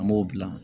An b'o dilan